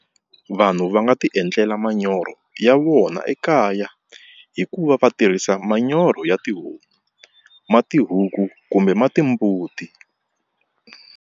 Vanhu va nga tiendlela manyoro ya vona ekaya hi ku va va tirhisa manyoro ya tihomu ma tihuku kumbe ma timbuti.